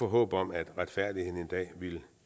håb om at retfærdigheden en dag ville